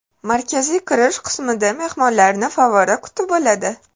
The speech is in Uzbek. Markaziy kirish qismida mehmonlarni favvora kutib oladi.